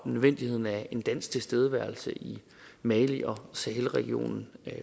nødvendigheden af en dansk tilstedeværelse i mali og sahelregionen